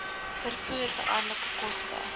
vervoer veranderlike koste